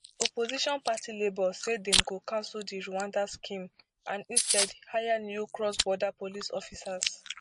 opposition party labour say dem go cancel di rwanda scheme and instead hire new crossborder police officers